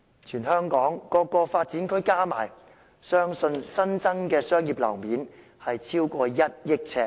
全香港各個發展區加起來，相信新增的商業樓面超過 1,000 億呎。